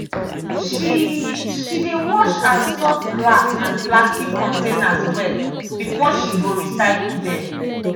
she she dey wash and sort glass and plastic containers well before she go recycle dem.